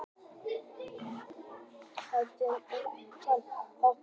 Hvassviðri er kennt um óhappið